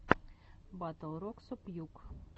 батл роксо пьюг